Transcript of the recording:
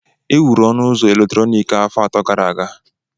Ewuru ọnụ ụzọ eletrọnịkị a afọ atọ gara aga